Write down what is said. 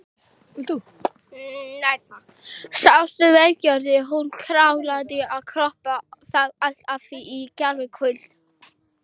Sástu veggfóðrið, hún kláraði að kroppa það allt af í gærkvöld.